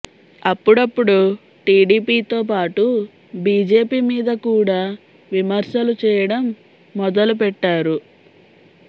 అప్పుడప్పుడు టీడీపీతో పాటు బీజేపీ మీద కూడా విమర్శలు చేయడం మొదలు పెట్టారు